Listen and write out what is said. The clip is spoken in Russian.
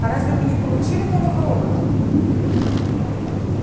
а разве мы не получили новых роботов